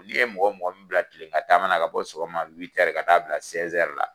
N'i ye mɔgɔ mɔgɔ mi bila kile gan taama na, ka bɔ sogoma ka taa bila la